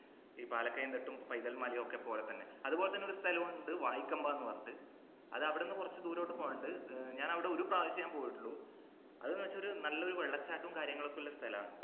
ഈ പാലക്കയം തട്ടും പൈതൽ മലയും ഒക്കെ പോലെ തന്നെ അതുപോലെതന്നെ സ്ഥലം ഉണ്ട് വായിക്കമ്പ ന്നു പറഞ്ഞിട്ട് അത് അവിടുന്ന് കുറച്ച് ദൂരോട്ട് പോകാനുണ്ട് ഞാനിവിടെ ഒരു പ്രാവശ്യം പോയിട്ടുള്ളൂ അത് ന്ന വെച്ചാൽ നല്ലൊരു വെള്ളച്ചാട്ടവും കാര്യങ്ങളും ഒക്കെയുള്ള ഒരു സ്ഥലമാണ്